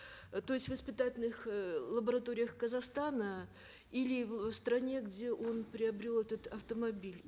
э то есть в испытательных э лабораториях казахстана или в стране где он приобрел этот автомобиль